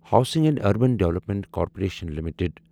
housing and urban development corporation limited